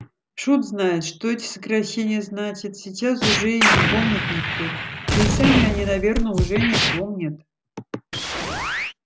шут знает что эти сокращения значат сейчас уже и не помнит никто да и сами они наверное уже не помнят